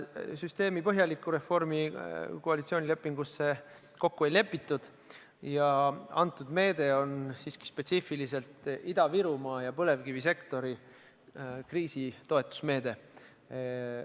Süsteemi põhjalikku reformi koalitsioonilepingus kokku ei lepitud ja konkreetne meede on spetsiifiliselt kriisiaegne Ida-Virumaa ja põlevkivisektori toetusmeede.